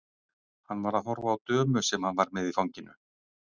Hann var að horfa á dömu sem hann var með í fanginu.